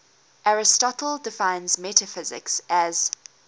aristotle defines metaphysics as